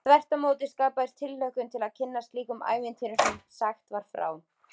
Þvert á móti skapaðist tilhlökkun til að kynnast slíkum ævintýrum sem sagt var frá.